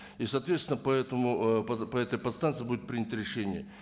и соответственно ыыы по этой подстанцие будет принято решение